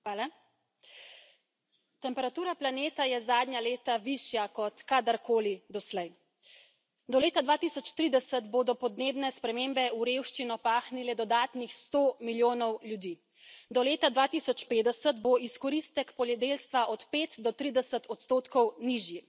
Gospod predsednik! Temperatura planeta je zadnja leta višja kot kadarkoli doslej. Do leta 2030 bodo podnebne spremembe v revščino pahnile dodatnih 100 milijonov ljudi, do leta 2050 bo izkoristek poljedelstva od 5 do 30 odstotkov nižji.